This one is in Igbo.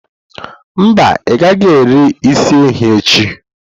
Mba, ị gaghị eri isi ehi echi.